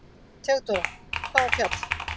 THEODÓRA: Hvaða fjall?